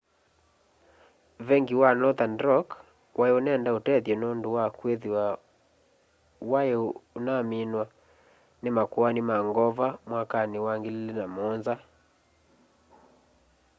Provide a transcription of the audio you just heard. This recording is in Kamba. venki wa nothern rock wai unenda utethyo nundu wa kwithiwa wai unaumiw'a ni makoani ma ngova mwakani wa 2007